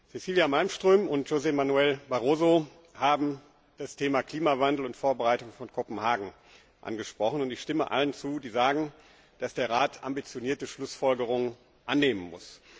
Cecilia Malmström und José Manuel Barroso haben das Thema Klimawandel und die Vorbereitung von Kopenhagen angesprochen. Ich stimme allen zu, die sagen, dass der Rat ambitionierte Schlussfolgerungen annehmen muss.